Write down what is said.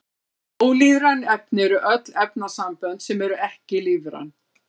Ólífræn efni eru öll efnasambönd sem eru ekki lífræn.